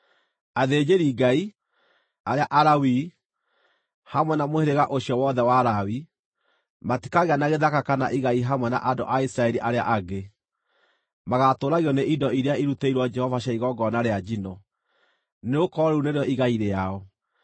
Athĩnjĩri-Ngai, arĩa Alawii, hamwe na mũhĩrĩga ũcio wothe wa Lawi, matikagĩa na gĩthaka kana igai hamwe na andũ a Isiraeli arĩa angĩ. Magaatũũragio nĩ indo iria irutĩirwo Jehova cia igongona rĩa njino, nĩgũkorwo rĩu nĩrĩo igai rĩao.